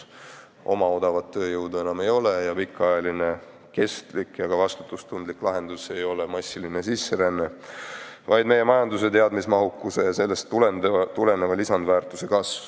Oma odavat tööjõudu enam ei ole ja pikaajaline, kestlik ja ka vastutustundlik lahendus ei ole massiline sisseränne, vaid meie majanduse teadmismahukuse ja sellest tuleneva lisandväärtuse kasv.